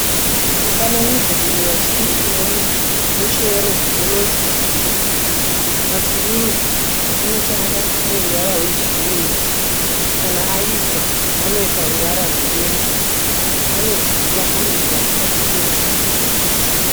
Mufananidzo uyu watiri kuona muchero unonzi matunduru, matunduru anotanga ane ruvara rwegirini kana aibva anoita ruvara rweyero anodyiwa ane mvura mukati uye ane mhodzi mukati.